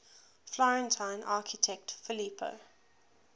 florentine architect filippo